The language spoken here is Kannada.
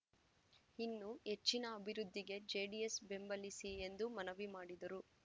ಇನ್ನೂ ಹೆಚ್ಚಿನ ಅಭಿವೃದ್ಧಿಗೆ ಜೆಡಿಎಸ್ ಬೆಂಬಲಿಸಿ ಎಂದು ಮನವಿ ಮಾಡಿದರು